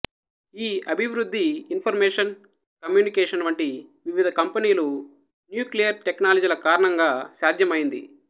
ఈ అభివృద్ధి information communication వంటి వివిధ కంపెనీలు న్యూక్లియర్ టెక్నాలజీల కారణంగా సాధ్యం అయింది